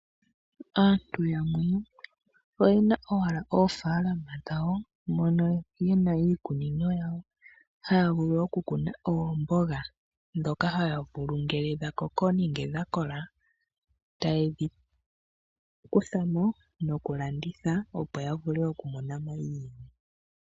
Aantu yamwe oyena owala oofaalama dhawo mono muna iikunino yawo haya vulu oku kuna oomboga. Dhoka haya vulu ngele dha koko nenge dha kola ta yedhi kutha mo noku landitha opo ya vule oku mona mo.